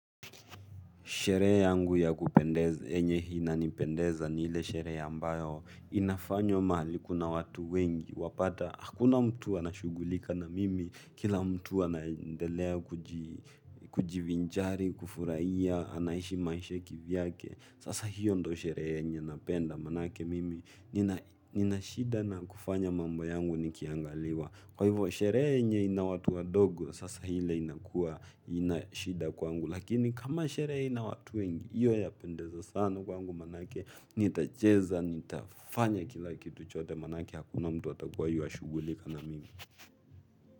Sherehe yangu ya kupendeza ambayo napendeza ni ile sherehe ambayo inafanywa mahali kuna watu wengi. Wapata, hakuna mtu anashughulika na mimi. Kila mtu anadelea kujivinjari, kufurahia, anaishi maisha kivyake. Sasa hiyo ndiyo sherehe yenye napenda manake mimi. Nina shida na kufanya mambo yangu nikiangaliwa. Kwa hivyo, sherehe yenye ina watu wa dogo, sasa hile haina shida kwa kwangu. Lakini kama sherehe haina watu wengi, hiyo inapendeza sana kwangu maana nitacheza, nitafanya kila kitu chote maname hakuna mtu atakuwa anashughulika na mimi.